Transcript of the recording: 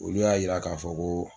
Olu y'a yira k'a fɔ ko